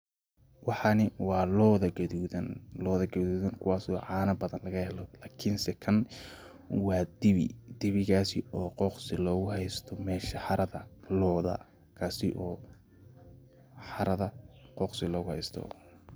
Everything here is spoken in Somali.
Waxani wa looda qadudaan, looda qadudaan kuwasi po canaa badan lagaxelo, lakin see kan wa diwii, diwiigasi oo qoqsi loguxaysto mesha xarada looda, kasi oo xarada qoqsi loguxaysto,